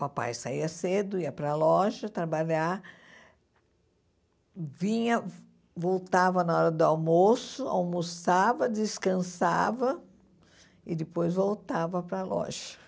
Papai saía cedo, ia para loja trabalhar, vinha, voltava na hora do almoço, almoçava, descansava e depois voltava para loja.